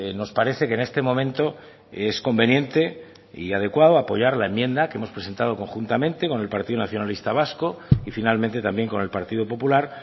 nos parece que en este momento es conveniente y adecuado apoyar la enmienda que hemos presentado conjuntamente con el partido nacionalista vasco y finalmente también con el partido popular